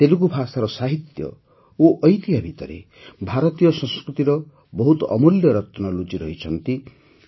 ତେଲୁଗୁ ଭାଷାର ସାହିତ୍ୟ ଓ ଐତିହ୍ୟ ଭିତରେ ଭାରତୀୟ ସଂସ୍କୃତିର ବହୁତ ଅମୂଲ୍ୟ ରତ୍ନ ଲୁଚିରହିଛନ୍ତି